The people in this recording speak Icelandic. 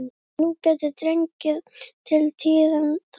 En nú gæti dregið til tíðinda.